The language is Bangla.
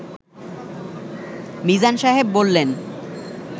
মিজান সাহেব বললেন